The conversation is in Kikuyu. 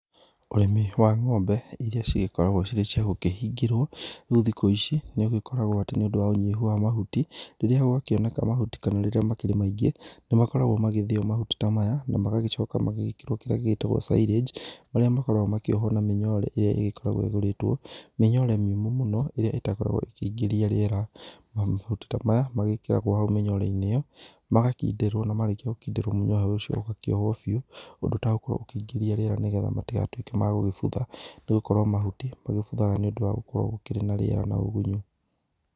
Ũrĩmi wa ng'ombe irĩa cigĩkoragwo cirĩ cia gũkĩhingĩrwo, rĩu thikũ ici nĩ ũgĩkoragwo atĩ nĩ ũndũ wa ũnyihu wa mahuti, rĩrĩa gwakĩoneka mahuti kana rĩrĩa makĩrĩ maingĩ, nĩ makoragwo magĩthĩo mahuti ta maya na magacoka magagĩkĩrwo kĩrĩa gĩgĩtagwo silage marĩa makoragwo makĩohwo na mĩnyore ĩrĩa ĩgĩkoragwo ĩkĩgũrĩtwo, mĩnyore mĩũmũ mũno ĩrĩa ĩtagĩkoragwo ĩkĩingĩria rĩera, mahuti ta maya magĩkĩragwo hau mĩnyore-inĩ ĩyo, magakindĩrwo na marĩkia gũkindĩrwo mũnyore ũcio ũgakĩohwo biũ, ũndũ ũtagũkorwo ũkĩingĩrĩa rĩera nĩgetha matigatuĩke ma gũbutha nĩ gũkorwo mahuti magĩbuthaga nĩ ũndũ wa gũkorwo gũkĩrĩ na rĩera na ũgunyu.